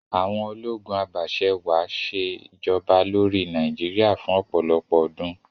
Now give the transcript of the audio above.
Àwon ológun abàse-wàá sè'joba lórí Naíjiria fún òpòlọpò ọdún